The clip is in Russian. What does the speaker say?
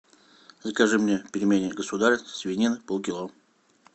закажи мне пельмени государь свинина полкило